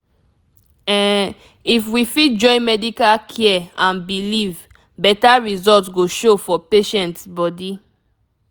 ehm if we join medical care and belief beta result go show for patients bodi